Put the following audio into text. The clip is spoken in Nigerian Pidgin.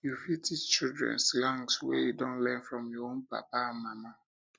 you fit teach children slangs wey you don learn from your own papa and mama